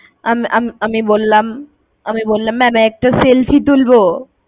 আম~আম~আমি বললাম~আমি বললাম ma'am একটা selfie তুলবো?